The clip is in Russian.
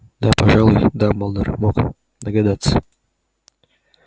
да пожалуй дамблдор мог догадаться